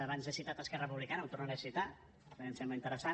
abans he citat esquerra republicana ho tornaré a citar perquè em sembla interessant